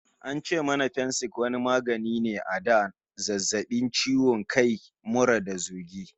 An ce mana Fensik wani magani ne a da na zazzabi, ciwo kai, mura da zogi.